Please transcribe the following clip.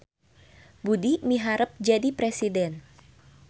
Budi miharep jadi presiden